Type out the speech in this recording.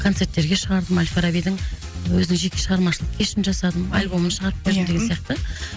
концерттерге шығардым ал фарабидің өзінің жеке шығармашылық кешін жасадым альбомын шығарып бердім деген сияқты